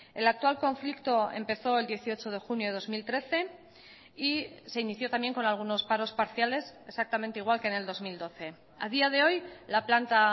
el actual conflicto empezó el dieciocho de junio de dos mil trece y se inició también con algunos paros parciales exactamente igual que en el dos mil doce a día de hoy la planta